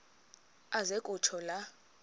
aze kutsho la